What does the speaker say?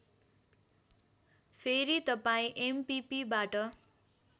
फेरी तपाईँ एमपिपिबाट